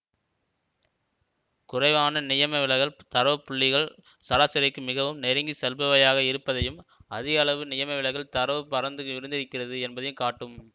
குறைவான நியமவிலகல் தரவுப் புள்ளிகள் சராசரிக்கு மிகவும் நெருங்கி செல்பவையாக இருப்பதையும் அதிக அளவு நியமவிலகல் தரவு பரந்து விரிந்திருக்கிறது என்பதையும் காட்டும்